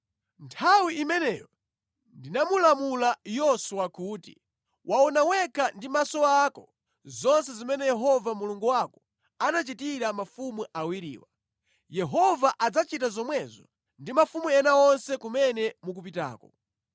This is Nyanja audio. Nthawi imeneyo ndinamulamula Yoswa kuti, “Waona wekha ndi maso ako zonse zimene Yehova Mulungu wako anachitira mafumu awiriwa. Yehova adzachita zomwezo ndi mafumu ena onse kumene mukupitako.